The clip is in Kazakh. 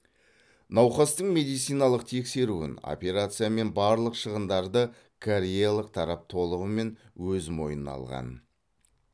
науқастың медициналық тексеруін операциясы мен барлық шығындарды кореялық тарап толығымен өз мойнына алған